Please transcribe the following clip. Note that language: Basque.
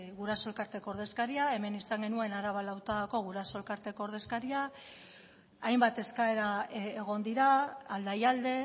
guraso elkarteko ordezkaria hemen izan genuen araba lautadako guraso elkarteko ordezkaria hainbat eskaera egon dira aldaialde